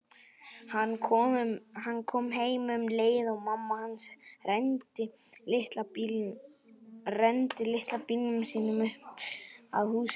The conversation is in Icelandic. Hann kom heim um leið og mamma hans renndi litla bílnum sínum upp að húsinu.